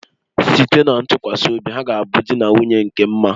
Site na ntụkwasị obi ha ga a bụ di na nwunye nke mma